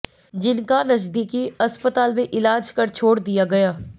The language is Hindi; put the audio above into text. जिनका नजदीकी अस्पताल में इलाज कर छोड़ दिया गया